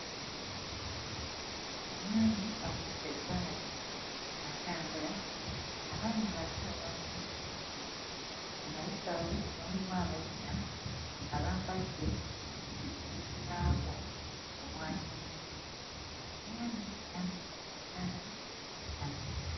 Omwami akutte eggaali atambula. Abaana abato bamutunuulidde. Emabega we waliwo abazina nga bambadde obuzibaawo obwa kyenvu. Omwami ayambadde akasaati kamyufu.